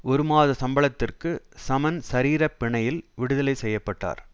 ஒரு மாத சம்பளத்திற்கு சமன் சரீரப் பிணையில் விடுதலை செய்ய பட்டார்